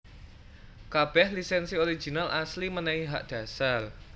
Kabèh lisènsi original asli mènèhi hak dhasar